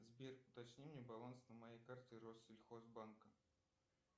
сбер уточни мне баланс на моей карте россельхозбанка